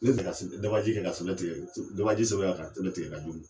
dabaji kɛ ka sɛbɛn tigɛ so yan ka sɛbɛn tigɛ ka di u ma.